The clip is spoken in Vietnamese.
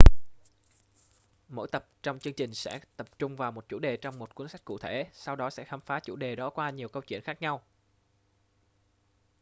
mỗi tập trong chương trình sẽ tập trung vào một chủ đề trong một cuốn sách cụ thể sau đó sẽ khám phá chủ đề đó qua nhiều câu chuyện khác nhau